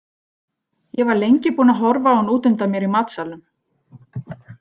Ég var lengi búin að horfa á hann út undan mér í matsalnum.